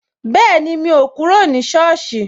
Bẹẹni, mo ti kúrò ní soosi